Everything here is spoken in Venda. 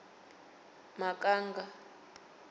makanga